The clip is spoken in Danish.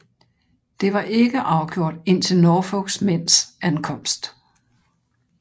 Det var ikke afgjort indtil Norfolks mænds ankomst